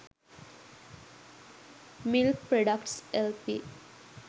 milk products lp